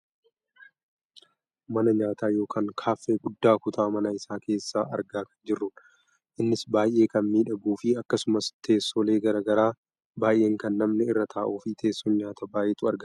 mana nyaataa yookaan kaaffee guddaa kutaa mana isaa keessa argaa kan jirrudha. innis baayyee kan miidhaguufi akkasumas teessoolee gara garaa baayeen kan namni irra taa'uu fi teessoon nyaataa baayyeetu argama.